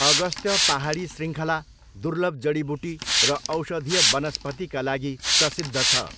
अगस्त्य पाहाडी शृङ्खला दुर्लभ जडीबुटी र औषधीय वनस्पतिका लागि प्रसिद्ध छ।